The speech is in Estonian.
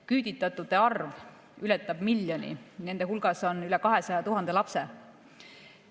Küüditatute arv ületab miljonit, nende hulgas on üle 200 000 lapse.